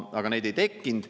Aga neid ei tekkinud.